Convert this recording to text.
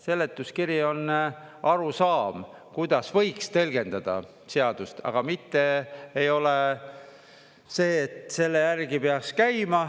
Seletuskiri on arusaam, kuidas võiks tõlgendada seadust, aga mitte ei ole see, et selle järgi peaks käima.